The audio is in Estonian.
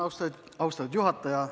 Austatud juhataja!